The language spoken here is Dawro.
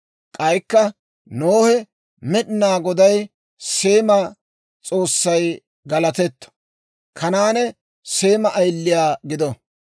K'aykka Nohe, «Med'inaa Goday, Seema S'oossay galatetto! Kanaane Seema ayiliyaa gido;